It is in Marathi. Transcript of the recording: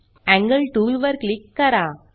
एंगल टूल वर क्लिक करा